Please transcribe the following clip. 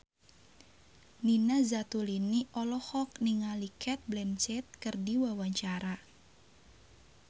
Nina Zatulini olohok ningali Cate Blanchett keur diwawancara